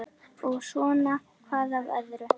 Og svona hvað af öðru.